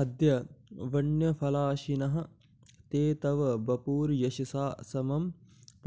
अद्य बन्यफलाशिनः ते तव वपुर्यशसा समं